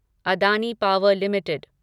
Adani power limited